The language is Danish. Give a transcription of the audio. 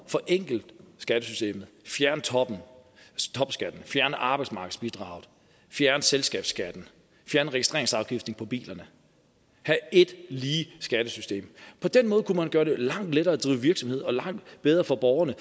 forenkle skattesystemet fjerne toppen stoppe skatten fjerne arbejdsmarkedsbidraget at fjerne selskabsskatten fjerne registreringsafgiften på bilerne have et lige skattesystem på den måde kunne man gøre det langt lettere at drive virksomhed og langt bedre for borgerne